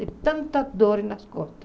De tanta dor nas costas.